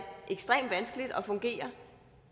ekstremt vanskeligt at fungere